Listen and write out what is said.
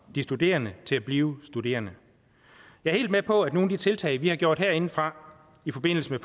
de studerende til at blive studerende jeg er helt med på at nogle af de tiltag vi har gjort herindefra i forbindelse med